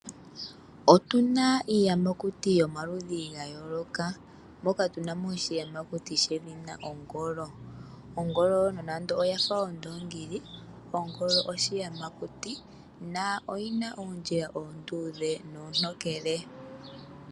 Otuna iiyamakuti yomaludhi ga yooloka, moka tunamo oshiyamakuti shedhina ongolo. Ongolo nonando oyafa ondoongi, ongolo oshiyamakuti, noyina oondjila oonduudhe noontokele.